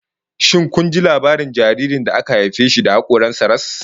Shin kun ji labarin jaririn da aka haife shi da hakoran sa ras?